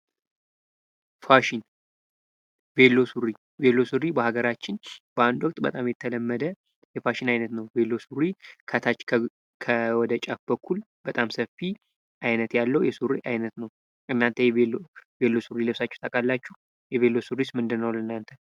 ፋሽን ፦ ቬሎ ሱሪ ፦ ቬሎ ሱሪ በሀገራችን በአንድ ወቅት በጣም የተለመደ የፋሽን አይነት ነው ። ቬሎ ሱሪ ከታች ፤ ወደ ጫፍ በኩል በጣም ሰፊ አይነት ያለው የሱሪ አይነት ነው ። እናንተ ቬሎ ሱሪ ለብሳችሁ ታውቃላችሁ ? ቬሎ ሱሪስ ምንድነው ለናንተ ?